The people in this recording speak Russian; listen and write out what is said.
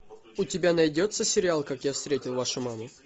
у тебя найдется сериал как я встретил вашу маму